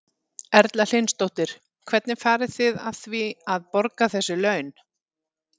Erla Hlynsdóttir: Hvernig farið þið að því að, að borga þessi laun?